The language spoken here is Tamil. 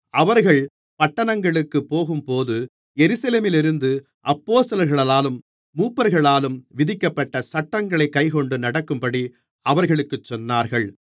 அவர்கள் பட்டணங்களுக்குப் போகும்போது எருசலேமிலிருக்கும் அப்போஸ்தலர்களாலும் மூப்பர்களாலும் விதிக்கப்பட்ட சட்டங்களைக் கைக்கொண்டு நடக்கும்படி அவர்களுக்குச் சொன்னார்கள்